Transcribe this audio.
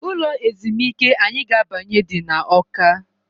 Ụlọ ezumịke anyị ga-abanye dị na awka.